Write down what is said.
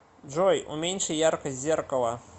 джой уменьши яркость зеркала